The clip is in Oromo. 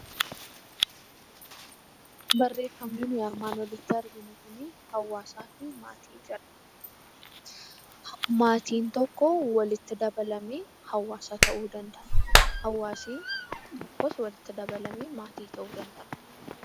Barreeffamni nuti armaan olitti arginu Kun, hawaasaaf maatiin tokko walitti dabalamee hawaasa ta'uu danda'a. Hawaasni tokkos walitti dabalamee maatii ta'uu danda'a.